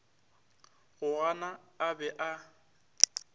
go gana a be a